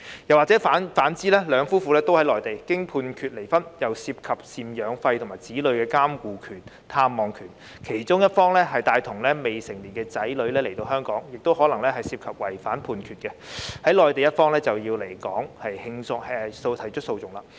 如果兩夫婦同在內地並經判決離婚，當中又涉及贍養費及子女的監護權、探望權，若其中一方帶同未成年子女來到香港，亦可能違反內地的判決，在內地的一方就要來港提出訴訟。